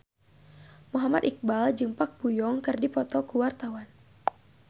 Muhammad Iqbal jeung Park Bo Yung keur dipoto ku wartawan